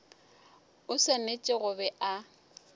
o swanetše go be a